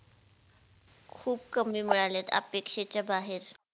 खुप कमी मिळालेत अपेक्षेच्या बाहेर